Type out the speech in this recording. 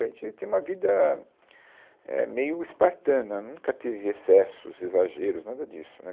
A gente tinha uma vida, é, meio espartana, nunca teve excessos, exageros, nada disso, né.